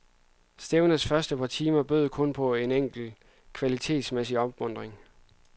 Stævnets første par timer bød kun på en enkelt kvalitetsmæssig opmuntring.